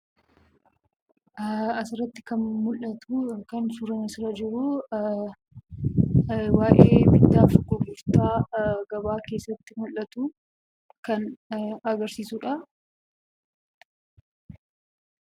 Asirratti kan mul'atuu yookaan suuraan asirra jiruu, waa'ee bittaa fi gurgurtaa gabaa keessatti mul'atuu kan agarsiisudhaa.